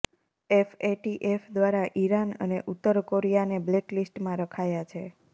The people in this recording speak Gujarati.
એફએટીએફ દ્વારા ઈરાન અને ઉત્તર કોરિયાને બ્લેકલિસ્ટમાં રખાયા છે